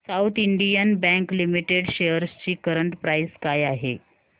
south Indian Bank Limited shares ची current price काय आहे